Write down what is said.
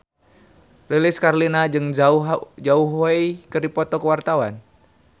Lilis Karlina jeung Zhao Wei keur dipoto ku wartawan